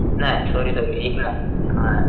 नाही sorry sorry एक नाही अ,